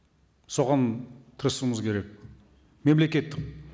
соған тырысуымыз керек мемлекет